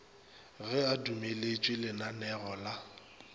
ge a dumeletše lananeo la